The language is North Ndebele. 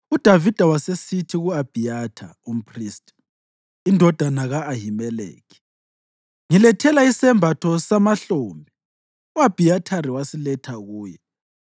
UDavida wasesithi ku-Abhiyatha umphristi, indodana ka-Ahimeleki, “Ngilethela isembatho samahlombe.” U-Abhiyathari wasiletha kuye,